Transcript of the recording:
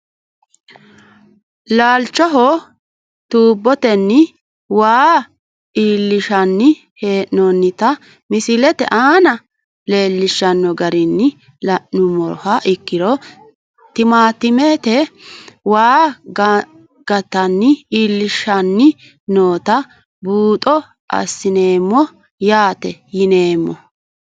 Laalchoho tuuboteni waa iilinshani heenonita misilete aana leelishano garini la`numoha ikiro timaatimete waa gantani iilishani noota buuxo asineemo yaate yineemo.